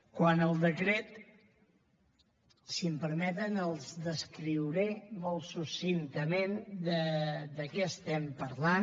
quant al decret si m’ho permeten els descriuré molt succintament de què estem parlant